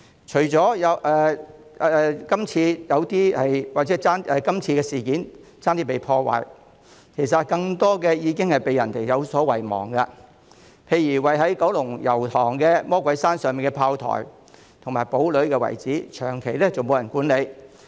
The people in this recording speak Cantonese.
除了今次差點被破壞的建築物外，其實還有更多古蹟已被遺忘，例如位於九龍油塘魔鬼山上的砲台和堡壘遺址，長期沒有人管理。